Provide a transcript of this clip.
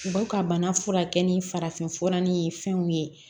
U b'u ka bana furakɛ ni farafinfura ni fɛnw ye